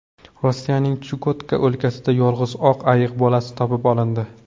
Rossiyaning Chukotka o‘lkasida yolg‘iz oq ayiq bolasi topib olindi.